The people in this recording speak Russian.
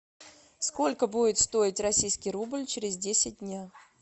сколько будет стоить российский рубль через десять дня